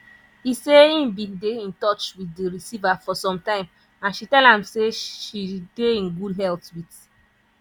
e say im bin dey in touch wit di receiver for some time and she tell am say she dey in good health wit